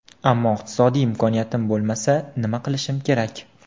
Ammo iqtisodiy imkoniyatim bo‘lmasa, nima qilishim kerak?